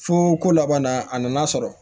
Fo ko laban na a nana sɔrɔ